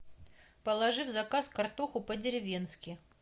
положи в заказ картоху по деревенски